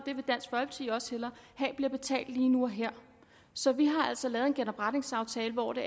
have bliver betalt lige nu og her så vi har altså lavet en genopretningsaftale hvor det